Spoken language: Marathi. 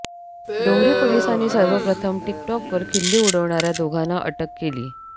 डोंगरी पोलिसांनी सर्वप्रथम टिकटॉकवर खिल्ली उडविणाऱ्या दोघांना अटक केली